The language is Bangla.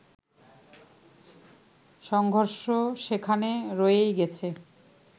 সংঘর্ষ সেখানে রয়েই গেছে